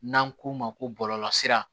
N'an k'o ma ko bɔlɔlɔ sira